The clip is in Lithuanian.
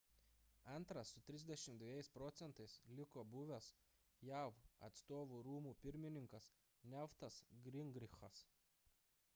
antras su 32 proc. liko buvęs jav atstovų rūmų pirmininkas newtas gingrichas